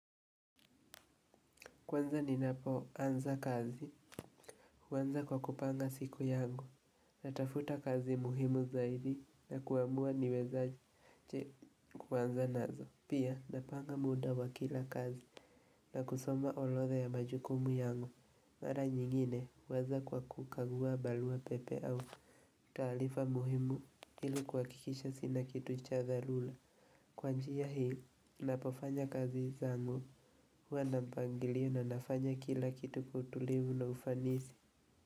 Kwanza ni napo anza kazi, huanza kwa kupanga siku yangu, natafuta kazi muhimu zaidi na kuamua niwezaje kuanza nazo. Pia napanga muda wa kila kazi na kusoma orodha ya majukumu yangu, mara nyingine huwaza kwa kukagua barua pepe au taarifa muhimu ili kuhakikisha sina kitu cha dharura. Kwa njia hii, napofanya kazi zangu huwa na mpangilio na nafanya kila kitu kwa utulivu na ufanisi.